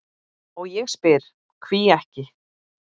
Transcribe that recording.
og ég spyr: hví ekki?